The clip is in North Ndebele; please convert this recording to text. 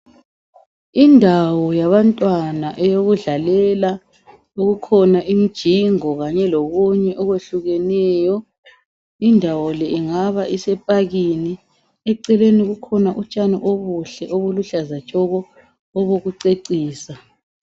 Indawo yabantwana eyokudlalela okukhona imijingo kanye lokunye okwehlukeneyo indawo le ingabe isepakini eceleni kukhona utshani obuluhlaza tshoko obokucecisa